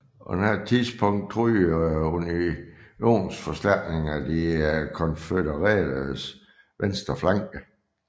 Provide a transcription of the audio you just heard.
På dette tidspunkt truede unionsforstærkninger de konfødereredes venstre flanke